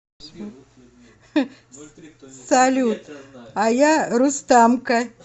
салют а я рустамка